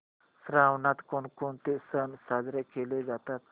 श्रावणात कोणकोणते सण साजरे केले जातात